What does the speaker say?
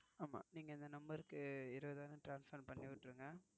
ஆமா, நீங்க இந்த இருபதாயிரம் Transfer பண்ணி விட்டுருங்க